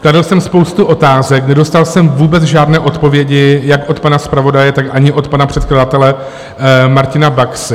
Kladl jsem spoustu otázek, nedostal jsem vůbec žádné odpovědi jak od pana zpravodaje, tak ani od pana předkladatele Martina Baxy.